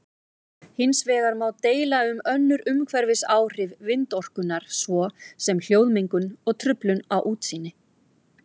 Hins vegar má deila um önnur umhverfisáhrif vindorkunnar svo sem hljóðmengun og truflun á útsýni.